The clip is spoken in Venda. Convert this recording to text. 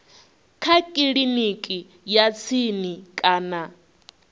kha kiliniki ya tsini kana